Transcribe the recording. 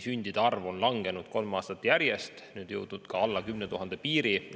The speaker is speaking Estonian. Sündide arv Eestis on langenud kolm aastat järjest ja jõudis eelmisel aastal alla 10 000 piiri.